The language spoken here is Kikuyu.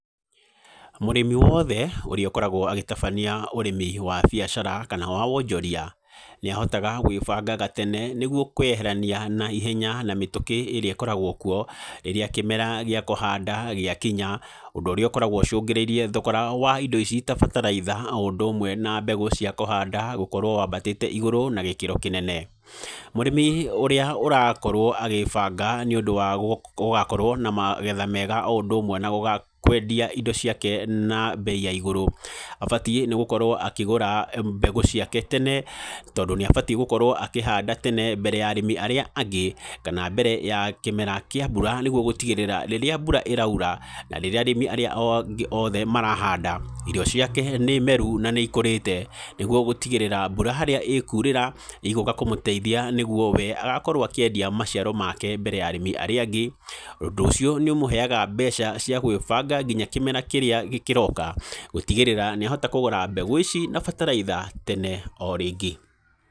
Mũrĩmi wothe ũrĩa ũkoragwo agĩtabania ũrĩmi wa biacara kana wa wonjoria nĩahotaga gwĩbanga gatene nĩguo kwĩyeherania na ihenya na mĩtũkĩ ĩrĩa ikoragwo kuo rĩrĩa kĩmera gĩa kuhanda gĩakinya, ũndũ ũrĩa ũkoragwo ũcungĩrĩirie thogora wa indo ici ta bataraitha o ũndũ ũmwe na mbegũ cia kũhanda gũkorwo wambatĩte igũrũ na gĩkĩro kĩnene. Mũrĩmi ũrĩa ũrakorwo agĩĩbanga nĩ ũndũ wa gũgakorwo na magetha mega o ũndũ ũmwe na kwendia indo ciake na mbei ya igũrũ, abatiĩ nĩ gũkorwo akĩgũra mbegũ ciake tene tondũ nĩ abatiĩ gũkorwo akĩhanda tene mbere ya arĩmi arĩa angĩ, kana mbere ya kĩmera kĩa mbura nĩguo gũtigĩrĩra rĩrĩa mbura ĩraura na rĩrĩa arĩmi arĩa angĩ oothe marahanda, irio ciake nĩ meru na nĩ ikũrĩte nĩguo gũtigĩrĩra mbura harĩa ĩkurĩra ĩgũka kũmũteithia nĩ guo we agakorwo akĩendia maciaro make mbere ya arĩmi arĩa angĩ. Ũndũ ũcio nĩũmũheaga mbeca cia gwĩbanga nginya kĩmera kĩrĩa kĩroka gũtigĩrĩra nĩahota kũgũra mbegũ ici na bataraitha tene o rĩngĩ.